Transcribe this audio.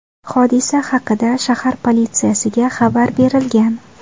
Hodisa haqida shahar politsiyasiga xabar berilgan.